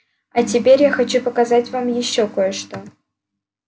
а теперь я хочу показать вам ещё кое-что